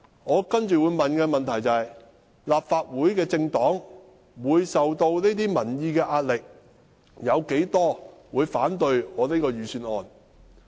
我接着會問：立法會的政黨會受到民意的壓力，有多少議員會反對我這份預算案呢？